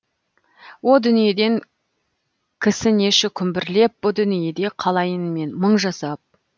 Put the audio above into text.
о дүниеден кісінеші күмбірлеп бұ дүниеде қалайын мен мың жасап